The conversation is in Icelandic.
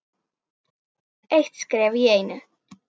Eitt skref í einu.